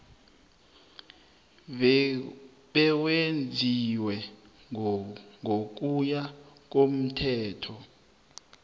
bewenziwe ngokuya komthetho